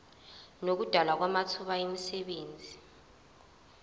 nokudalwa kwamathuba emisebenzi